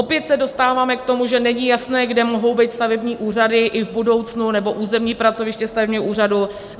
Opět se dostáváme k tomu, že není jasné, kde mohou být stavební úřady i v budoucnu nebo územní pracoviště stavebního úřadu.